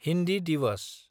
Hindi Diwas